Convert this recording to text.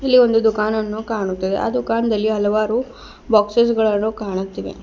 ಈವೊಂದು ದುಃಖಾನನ್ನು ಕಾಣುತ್ತದೆ ಆ ದುಃಖಾನದಲ್ಲಿ ಹಲವಾರು ಬಾಕ್ಸಸ್ ಗಳನ್ನು ಕಾಣುತ್ತಿವೆ.